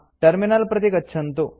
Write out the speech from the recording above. terminal प्रति गच्छन्तु